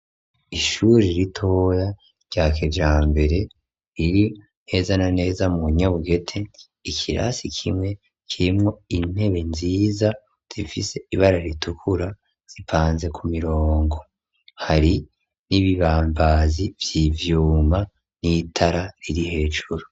Ishuri ritoya rya kijambere, riri neza na neza mu Nyabugete, ikirasi kimwe kirimwo intebe nziza zifise ibara ritukura zipanze ku mirongo, hari n'ibibambazi vy'ivyuma n'itara riri hejuru.